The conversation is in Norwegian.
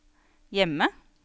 hjemme